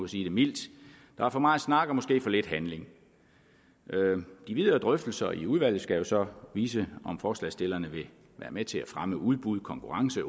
sige det mildt der er for meget snak og måske for lidt handling de videre drøftelser i udvalget skal så vise om forslagsstillerne vil være med til at fremme udbud konkurrence